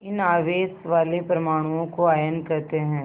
इन आवेश वाले परमाणुओं को आयन कहते हैं